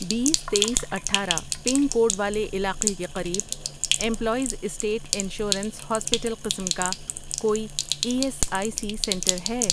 بیس، تییس، اٹھارہ ، pin code والے علاقے کے قریب امپلائیز اسٹیٹ انشورنس ہاسپیٹل قسم کا کوئی E S I C center ہے؟